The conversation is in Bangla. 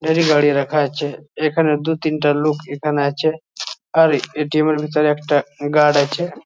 এরই গাড়ি রাখা আছে। এখানে দু তিনটা লোক এখানে আছে। আর এ.টি.এম. এর ভিতরে একটা গার্ড আছে।